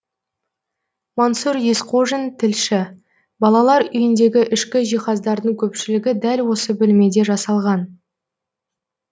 мансұр есқожин тілші балалар үйіндегі ішкі жиһаздардың көпшілігі дәл осы бөлмеде жасалған